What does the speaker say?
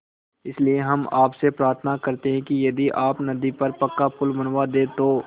इसलिए हम आपसे प्रार्थना करते हैं कि यदि आप नदी पर पक्का पुल बनवा दे तो